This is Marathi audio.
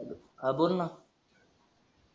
हा बोल न